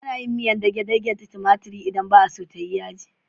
Ana yin miyar dage-dage da tumatiri idan ba a so ta yi yaji.